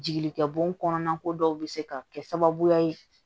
Jigikɛ bo kɔnɔna ko dɔw bɛ se ka kɛ sababuya ye